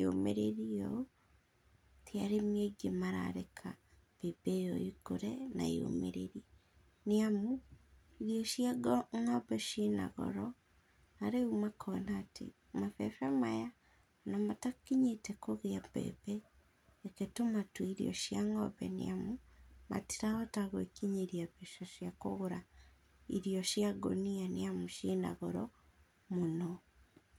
yũmĩrĩrĩe ũ, ti arĩmi aingĩ marareka mbembe ĩyo ĩkũre na yũmĩrĩrĩ, nĩ amũ irio cia ngombe cina goro na rĩũ makona atĩ, mabebe maya ona matakinyĩte kũgĩa mbembe reke tũmatũe irio cĩa ngombe, nĩ amũ matirahota gwĩkinyĩria mbeca cia kũgũra irio cia ngũnia, nĩ amũ cina goro mũno.